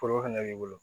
Foro fɛnɛ b'i bolo